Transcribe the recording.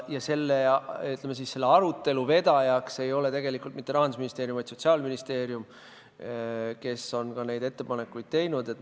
Ja selle, ütleme, arutelu vedaja ei ole tegelikult mitte Rahandusministeerium, vaid Sotsiaalministeerium, kes on ka neid ettepanekuid teinud.